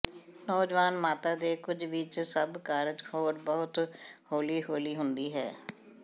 ਨੌਜਵਾਨ ਮਾਤਾ ਦੇ ਕੁਝ ਵਿੱਚ ਸਭ ਕਾਰਜ ਹੋਰ ਬਹੁਤ ਹੌਲੀ ਹੌਲੀ ਹੁੰਦੀ ਹੈ